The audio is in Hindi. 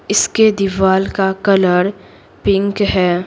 इसके दीवाल का कलर पिंक है।